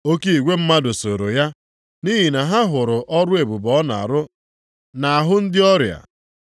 Oke igwe mmadụ sooro ya, nʼihi na ha hụrụ ọrụ ebube ọ na-arụ nʼahụ ndị ọrịa.